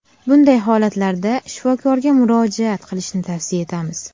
Bunday holatlarda shifokorga murojaat qilishni tavsiya etamiz.